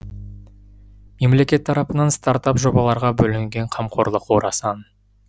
мемлекет тарапынан стартап жобаларға бөлінген қамқорлық орасан